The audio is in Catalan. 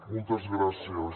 moltes gràcies